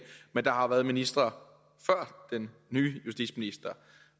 men der har jo været ministre før den nye justitsminister